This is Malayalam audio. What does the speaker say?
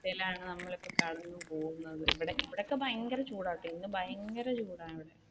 അവസ്ഥയിലാണ് നമ്മൾ ഇപ്പൊ കടന്നു പോവുന്നത് ഇവിടഇവിടെയൊക്കെ ഭയങ്കര ചൂടാണെട്ടോ ഇന്ന് ഭയങ്കര ചൂടാണ്